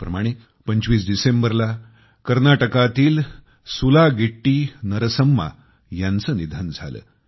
त्याचप्रमाणे 25 डिसेंबरला कर्नाटकातील सुलागिट्टीनरसम्मा यांचे निधन झाले